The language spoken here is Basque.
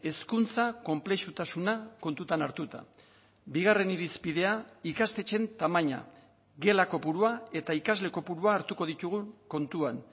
hezkuntza konplexutasuna kontutan hartuta bigarren irizpidea ikastetxeen tamaina gela kopurua eta ikasle kopurua hartuko ditugun kontuan